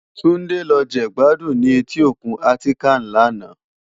Tunde lò je gbàdún ni éti ókún Atikán làná